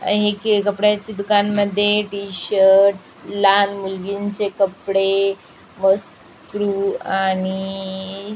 हे एक कपड्याच्या दुकान मध्ये टि-शर्ट लहान मुलगीनचे कपडे वस्तु आणि--